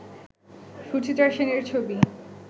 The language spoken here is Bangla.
সুচিত্রা সেনের ছবি